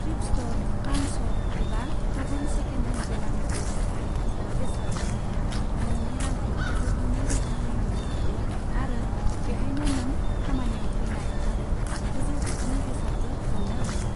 Thrift store, pawn shop एबा गुबुन second hand गलानिफ्राय बाहायखोन्दा बेसाद बायनाया नोंनि रांखौ गोगोमै रैखा खालामनो हागौ आरो बेहायनो नों खामानियाव फैनाय आरो गोजौ थाखोनि बेसादबो मोन्नो हागौ।